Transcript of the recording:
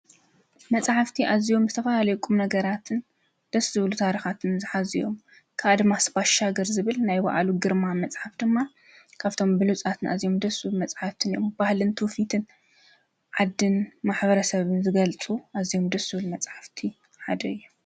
መጽሓፍቲ ኣዚዮም ምስተፋ ኣለቁም ነገራትን ደስ ዝብሉ ታርኻትን ዝኃዚዮም ካኣድማስባሻ ገር ዝብል ናይ በኣሉ ግርማ መጽሓፍ ድማ ካብቶም ብሉፃትን እዚም ድሱል መጽሓፍትን እዮም ባህልንትውፊትን ዓድን ማኅበረ ሰብን ዘገልጹ ኣዚም ድሱብል መጽሕፍቲ ሓደ የ።